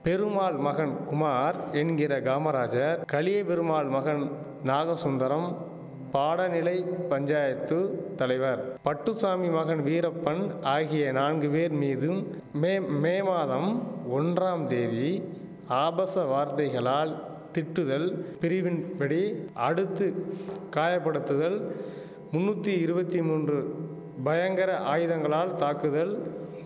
பெருமாள் மகன் குமார் என்கிற காமராஜர் கலியபெருமாள் மகன் நாகசுந்தரம் பாடநிலை பஞ்சாயத்து தலைவர் பட்டுசாமி மகன் வீரப்பன் ஆகிய நான்கு பேர் மீதும் மேம் மே மாதம் ஒன்றாம் தேதி ஆபாச வார்த்தைகளால் திட்டுதல் பிரிவின்படி அடுத்து காயப்படுத்துதல் முன்னுத்தி இருவத்தி மூன்று பயங்கர ஆயுதங்களால் தாக்குதல்